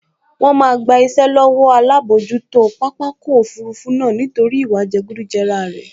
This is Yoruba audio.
Wọ́n máa gba iṣẹ́ lọ́wọ́ alábojútó pápákọ̀ òfurufú náà nítorí ìwà jẹgúdújẹrá rẹ̀